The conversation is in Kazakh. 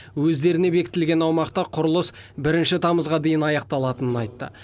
өздеріне бекітілген аумақта құрылыс бірінші тамызға дейін аяқталатынын айтты